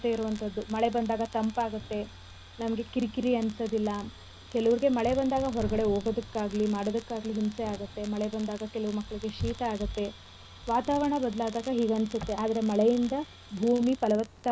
ಅಂತದ್ದು ಮಳೆ ಬಂದಾಗ ತಂಪಾಗತ್ತೆ ನಮ್ಗೆ ಕಿರಿ ಕಿರಿ ಅನ್ಸದಿಲ್ಲ ಕೆಲವ್ರಿಗೆ ಮಳೆ ಬಂದಾಗ ಹೊರ್ಗಡೆ ಹೋಗೋದಕ್ಕಾಗ್ಲಿ ಮಾಡೋದಕ್ಕಾಗ್ಲಿ ಹಿಂಸೆ ಆಗತ್ತೆ ಮಳೆ ಬಂದಾಗ ಕೆಲವು ಮಕ್ಳಿಗೆ ಶೀತ ಆಗತ್ತೆ ವಾತಾವರಣ ಬದ್ಲಾದಗ ಹೀಗ್ ಅನ್ಸತ್ತೆ ಆದ್ರೆ ಮಳೆ ಇಂದ ಭೂಮಿ ಫಲವತ್ತಾಗಿ ಬೆಳೆಯುತ್ತೇ.